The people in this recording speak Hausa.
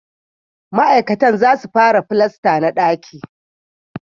Ma'aikatan za su fara filasta na daki